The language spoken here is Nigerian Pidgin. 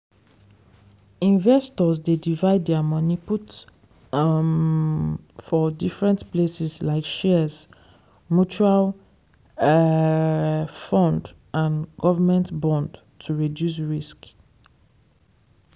investors dey divide their money put um for different places like shares mutual um fund and government bond to reduce risk.